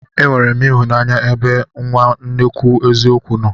Enwerem ihụnanya ebe nwa n'ekwu eziokwu nno.